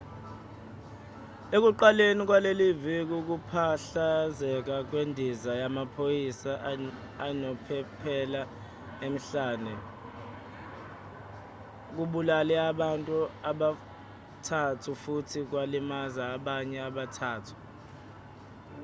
ekuqaleni kwaleli viki ukuphahlazeka kwendiza yamaphoyisa enophephela emhlane kubulale abantu abathathu futhi kwalimaza abanye abathathu